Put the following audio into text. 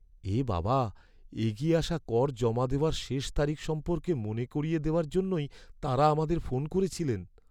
এ বাবা! এগিয়ে আসা কর জমা দেওয়ার শেষ তারিখ সম্পর্কে মনে করিয়ে দেওয়ার জন্যই তাঁরা আমাদের ফোন করেছিলেন।